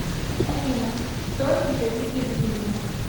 афина стой и завидуй гривина